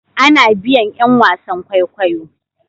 A na biyan yan wasan kwaikwayo